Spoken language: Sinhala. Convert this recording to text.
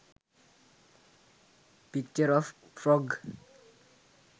picture of frog